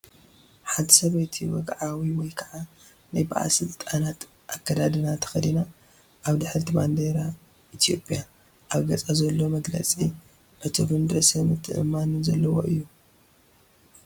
ሓንቲ ሰበይቲ ወግዓዊ ወይ ከዓ ናይ ባለስልጣናት ኣከዳድና ተኸዲና ኣብ ድሕሪት ባንዴራ ኢትዮጵያ። ኣብ ገጻ ዘሎ መግለጺ ዕቱብን ርእሰ ምትእምማንን ዘለዎ እዩ።